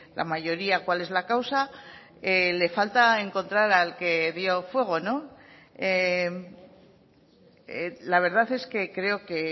la mayoría cuál es la causa le falta encontrar al que dio fuego no la verdad es que creo que